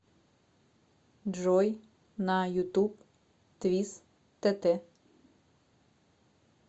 джой на ютуб твис тэтэ